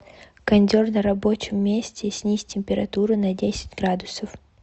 кондер на рабочем месте снизь температуру на десять градусов